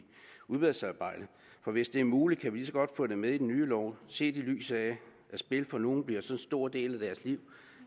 udvalgsarbejdet for hvis det er muligt kan vi lige så godt få det med i den nye lov set i lyset af at spil for nogen bliver så stor en del af deres liv